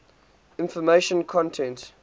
information content